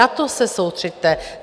Na to se soustřeďte.